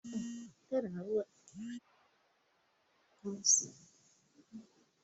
Ɗauki waɗannan kayan! shugaban ya umarci baiwar.